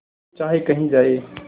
तू चाहे कही जाए